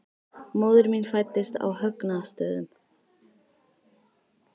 Móðir mín fæddist á Högna- stöðum.